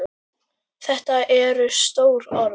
Þetta eru stór orð.